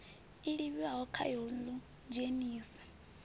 livhiwaho khayo ya ḽu idzhenisa